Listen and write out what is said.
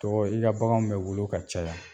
Tɔgɔ i ka baganw bɛ wolo ka caya.